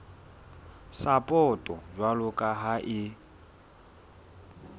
sapoto jwalo ka ha e